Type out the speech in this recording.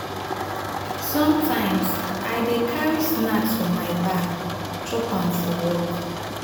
sometimes i dey carry snacks for my bag chop am for work.